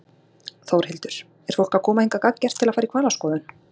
Þórhildur: Er fólk að koma hingað gagngert til að fara í hvalaskoðun?